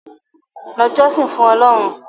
lọ jọ́sìn fún Ọlọ́run!